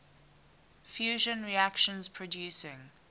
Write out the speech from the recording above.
fusion reactions producing